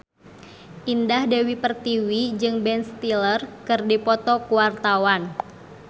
Indah Dewi Pertiwi jeung Ben Stiller keur dipoto ku wartawan